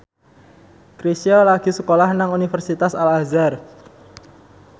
Chrisye lagi sekolah nang Universitas Al Azhar